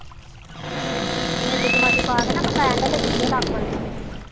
committee committee ਪਾਕੇ ਨਾ ਬੰਦਾ end ਚ ਚੁਕੇ ਲੱਖ ਵਾਲੀ